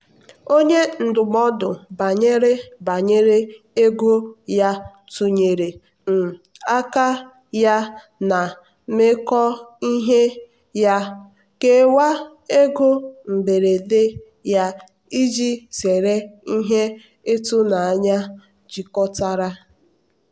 onye ndụmọdụ banyere banyere ego ya tụnyere um ka ya na mmekọe ihe ya kewaa ego mberede ya iji zere ihe ịtụnanya jikọtara.